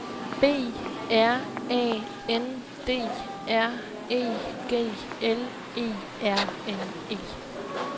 B R A N D R E G L E R N E